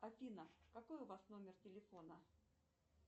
афина какой у вас номер телефона